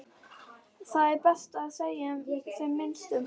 Það er best að segja sem minnst um það.